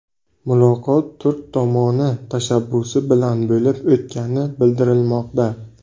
Muloqot turk tomoni tashabbusi bilan bo‘lib o‘tgani bildirilmoqda.